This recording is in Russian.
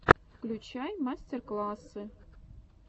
включай мастер классы